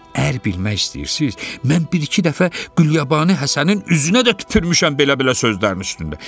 Əgər bilmək istəyirsiz, mən bir-iki dəfə Qulyabanı Həsənin üzünə də tüpürmüşəm belə-belə sözlərinin üstündə.